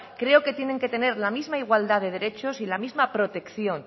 creo que tiene que tener la misma igualdad de derechos y la misma protección